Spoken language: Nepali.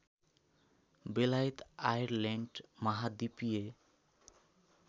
बेलायत आयरल्यान्ड महाद्वीपीय